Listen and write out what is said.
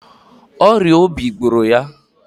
Ọrịa obi gbụrụ ya.